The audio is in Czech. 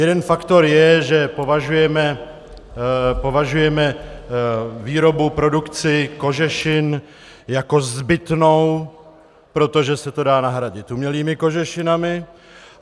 Jeden faktor je, že považujeme výrobu, produkci kožešin jako zbytnou, protože se to dá nahradit umělými kožešinami.